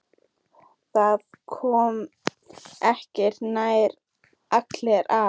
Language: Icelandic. Það komast ekki nærri allir að.